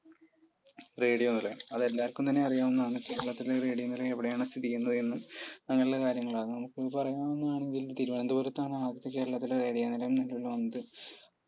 radio നിലയം അത് എല്ലാവർക്കും തന്നെ അറിയാവുന്നതാണ് കേരളത്തിലെ radio നിലയം എവിടയാണ് സ്ഥിതി ചെയ്യുന്നത് അങ്ങനെയുള്ള കാര്യങ്ങൾ ആണ് പറയാവുന്നതാണെങ്കിൽ തിരുവനന്തപുരത്താണ് കേരളത്തിലെ ആദ്യത്തെ radio നിലയം നിലവിൽ വന്നത്